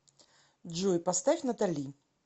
джой поставь натали